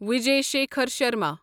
Vijay Shekhar Sharma